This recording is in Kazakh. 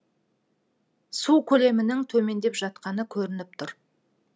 су көлемінің төмендеп жатқаны көрініп тұр